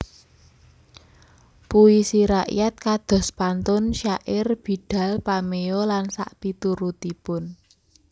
Puisi rakyat kados pantun syair bidal pameo lan sakpiturutipun